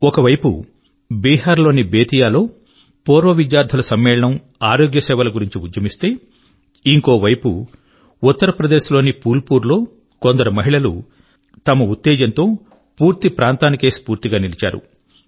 ఒక వైపు బీహార్ లోని బేతియా లో పూర్వ విద్యార్థుల సమ్మేళనం ఆరోగ్య సేవల గురించి ఉద్యమిస్తే ఇంకోవైపు ఉత్తర ప్రదేశ్ లోని ఫూల్ పూర్ యొక్క కొందరు మహిళలు తమ ఉత్తేజం తో పూర్తి ప్రాంతానికే స్ఫూర్తిగా నిలిచారు